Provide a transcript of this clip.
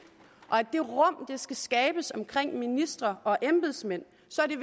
og skal skabes omkring ministre og embedsmænd så er det